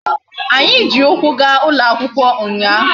Anyi ji ukwu ga ulo akwukwo unya